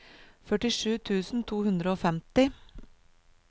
førtisju tusen to hundre og femti